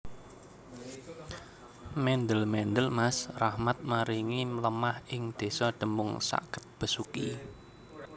Mendel mendel Mas Rahmat maringi lemah ing desa Demung sakket Besuki